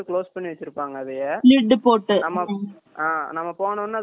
ஆமா அ நம்ம போன உடனே அது open பண்ணிட்டு ஒரு இது மாதிரி இறக்குவாங்க